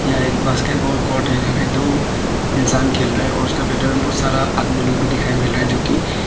यह एक basketball court है यहां में दो इंसान खेल रहा है उसका में बहुत सारा आदमी लोग भी दिखाएं मिल रहा है जो की--